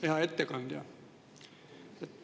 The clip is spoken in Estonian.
Hea ettekandja!